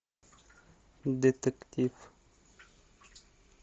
детектив